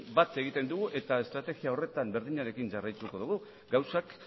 bat egiten dugu eta estrategia horretan berdinarekin jarraituko dugu gauzak